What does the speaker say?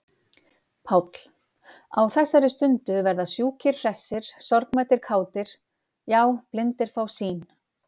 PÁLL: Á þessari stundu verða sjúkir hressir, sorgmæddir kátir,- já, blindir fá sýn!